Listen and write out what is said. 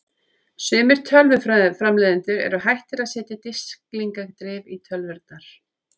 Sumir tölvuframleiðendur eru hættir að setja disklingadrif í tölvurnar.